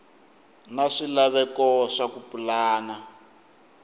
na swilaveko swa ku pulana